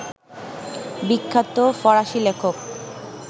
বিখ্যাত ফরাসি লেখক